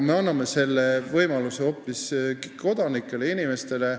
Meie anname võimaluse hoopis kodanikele, inimestele.